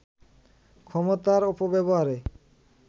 ক্ষমতার অপব্যবহারে